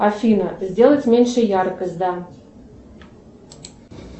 афина сделать меньше яркость да